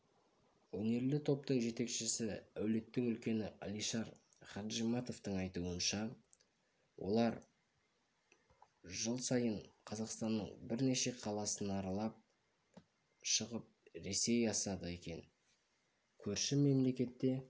өнерлі топтың жетекшісі әулеттің үлкені алишар хаджиматовтың айтуынша олар жыл сайын қазақстанның бірнеше қаласын аралап шығып ресей асады екен көрші мемлекетте